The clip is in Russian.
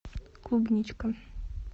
клубничка